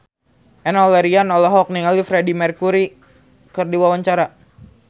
Enno Lerian olohok ningali Freedie Mercury keur diwawancara